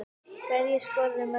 Hverjir skoruðu mörkin?